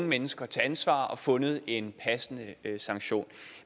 mennesker til ansvar og fundet en passende sanktion